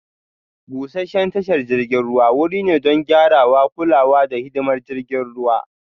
Busasshen tashar jiragen ruwa wuri ne don gyarawa, kulawa, da hidimar jiragen ruwa